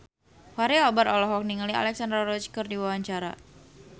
Fachri Albar olohok ningali Alexandra Roach keur diwawancara